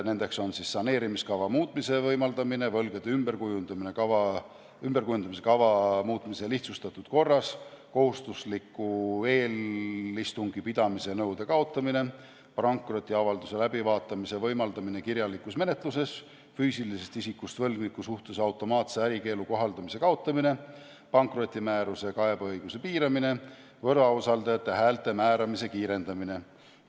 Need on saneerimiskava muutmise võimaldamine, võlgade ümberkujundamise kava muutmise lihtsustatud korras, kohustusliku eelistungi pidamise nõude kaotamine, pankrotiavalduse läbivaatamise võimaldamine kirjalikus menetluses, füüsilisest isikust võlgniku suhtes automaatse ärikeelu kohaldamise kaotamine, pankrotimääruse kaebeõiguse piiramine, võlausaldajate häälte määramise kiirendamine.